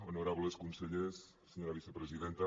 honorables consellers senyora vicepresidenta